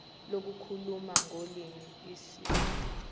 lokukhuluma ngolimi isib